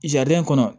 kɔnɔ